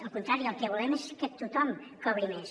al contrari el que volem és que tothom cobri més